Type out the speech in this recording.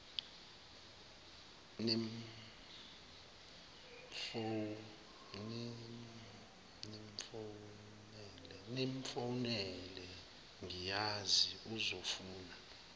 nimfowunele ngiyazi uzofuna